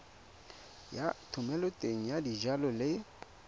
ya thomeloteng ya dijalo le